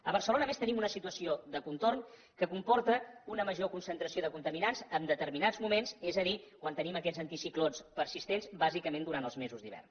a barcelona a més tenim una situació de contorn que comporta una major concentració de contaminants en determinats moments és a dir quan tenim aquests anticiclons persistents bàsicament durant els mesos d’hivern